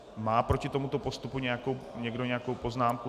Má proti tomuto postupu někdo nějakou poznámku?